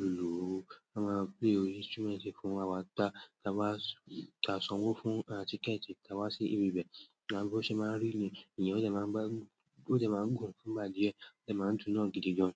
lùlù, wọ́n máa play oríṣi instrument fún awá ta, ta wá, ta sanwó fún à ti kẹ́ẹ̀tì ta wá sí ibi bẹ́ẹ̀. Ìgbàgbọ́ ṣe máa ń rì ni yi, èeyàn lẹ́ máa gbàgùn, ó dẹ́ máa ń gùn fún ìgbà díẹ̀, ó dẹ́ máa ń dùn náà gidi gan-an.